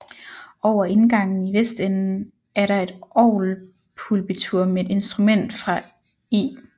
Over indgangen i vestenden er der et orgelpulpitur med et instrument fra I